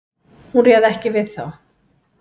Hún réð ekki við þá.